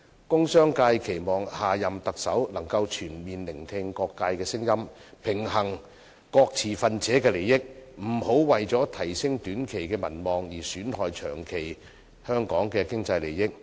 工商界期望下任特首能全面聆聽各界聲音，平衡各持份者的利益，不要為提升短期的民望而損害香港長期的經濟效益。